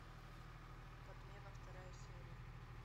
подмена вторая серия